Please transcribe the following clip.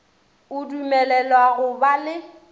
o dumelelwa go ba le